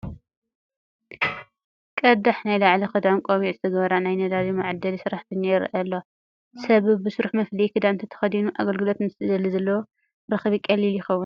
ቀዳሕ ናይ ላዕሊ ክዳንን ቆቢዕን ዝገበራ ናይ ነዳዲ መዓደሊ ሰራሕተኛ ይርአያ ኣለዋ፡፡ ሰብ በብስርሑ መፍለዪ ክዳን እንተተኸዲኑ ኣገልግሎት ምስ ዝደሊ ዘለዎ ረኽቢ ቀሊል ይኸውን፡፡